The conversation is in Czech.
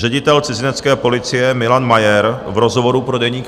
Ředitel cizinecké policie Milan Majer v rozhovoru pro Deník